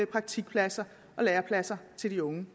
praktikpladser og lærepladser til de unge